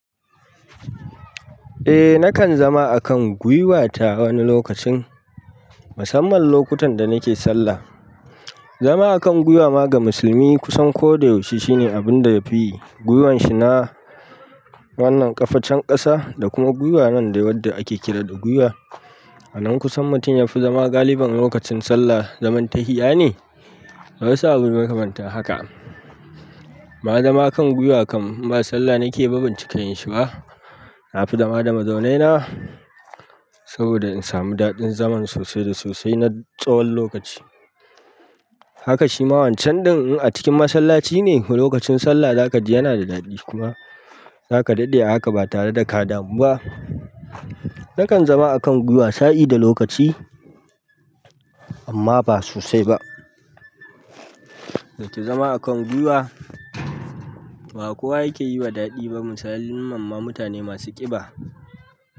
Eh nakan zama a kan gwiwata wani lokacin, musamman lokutan da nake sallah. Zama a kan gwiwa ma ga musulmi kusan ko da yaushe shine abun da yafi gwiwan shi na wannan ƙafa can ƙasa da kuma gwiwa nan da wadda ake kira da gwiwa. Anan kusan mutum yafi zama galiban lokacin sallah zaman tahiya ne. Da waɗansu abun makamantan haka. Ai zama kan gwiwa kam inba salla nake ba bancika yin shi ba. Na fi zama da mazaune na saboda in samu daɗin zaman sosai da sosai na tsawon lokaci. Haka shi ma wancan ɗin in a cikin masallaci ne lokacin sallah zaka ji yana da daɗi kuma zaka daɗe a haka ba tare da ka damu ba. Nakan zama a kan gwiwa sa'i da lokaci amma ba sosai ba. Yace zama a kan gwiwa ba kowa yake yi wa daɗi ba misalin mamman mutane masu ƙiba.